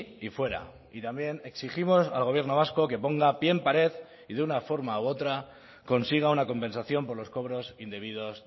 y fuera y también exigimos al gobierno vasco que ponga pie en pared y de una forma u otra consiga una compensación por los cobros indebidos